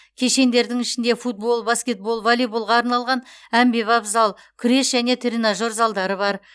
кешендердің ішінде футбол баскетбол воллейболға арналған әмбебап зал күрес пен тренажер залдары бар